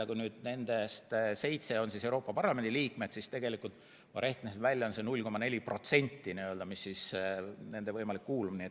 Kui nendest seitse on Euroopa Parlamendi liikmed, siis tegelikult, ma rehkendasin välja, on see 0,4%.